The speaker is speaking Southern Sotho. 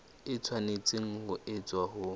e tshwanetse ho etswa ho